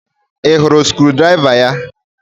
Ị hụrụ screwdriver ya?